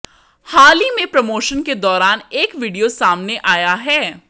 हाल ही में प्रमोशन के दौरान एक वीडियो सामने आया है